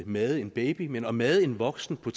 made en baby men at made en voksen på